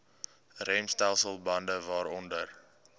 remstelsel bande waaronder